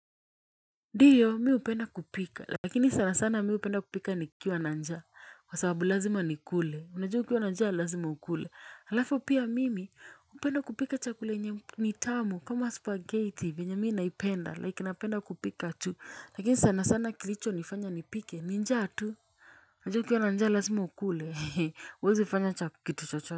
Ndiyo mi upenda kupika lakini sana sana mi hupenda kupika nikiwa na njaa kwa sababu lazima nikule unajua ukiwa nanjaa lazima ukule alafu pia mimi upenda kupika chakula yenye nitamu kama spaghetti vyenye mii naipenda like napenda kupika tu lakini sana sana kilicho nifanya nipike ninjaa tu unajua u kiwa nanjaa lazima ukule uwezi ufanya cha kitu chocho.